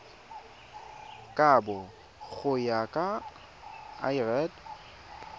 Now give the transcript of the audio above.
kabo go ya ka lrad